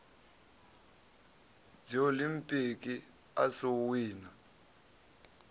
dziolimpiki a si u wina